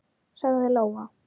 sagði Lóa.